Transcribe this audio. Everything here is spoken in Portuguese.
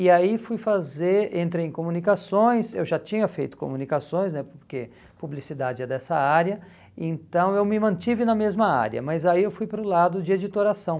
E aí fui fazer, entrei em comunicações, eu já tinha feito comunicações né, porque publicidade é dessa área, então eu me mantive na mesma área, mas aí eu fui para o lado de editoração.